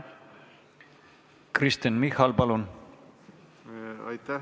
Kristen Michal, palun!